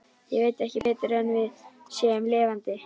Ég veit ekki betur en við séum lifandi.